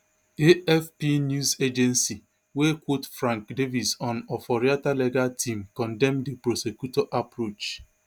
afp news agency wey quote frank davies on oforiatta legal team condemn di prosecutor approach